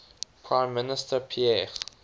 prime minister pierre